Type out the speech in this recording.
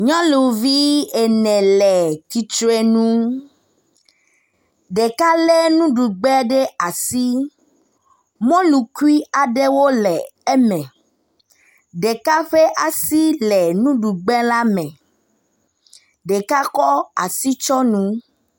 Nyɔnuvi ene le tsitrenu. Ɖeka le nuɖugba ɖe asi. Mɔlu kui aɖewo le eme. Ɖeka ƒe asi le nuɖugba la me. Ɖeka kɔ asi tsɔ nu.